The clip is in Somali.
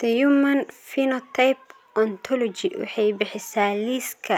The Human Phenotype Ontology waxay bixisaa liiska